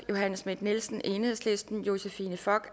johanne schmidt nielsen josephine fock